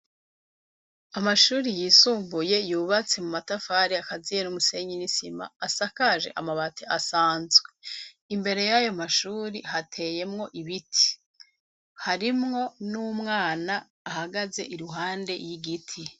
Amashure yisumbuye yubatse mu matafari akaziye n'umusenyi n'isima, asakaje amabati asanzwe. Imbere y'ayo mashure hateyemwo ibiti. Harimwo n'umwana ahagaze iruhande y'igiti.